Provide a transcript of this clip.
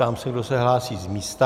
Ptám se, kdo se hlásí z místa.